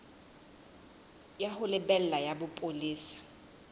ya ho lebela ya bopolesa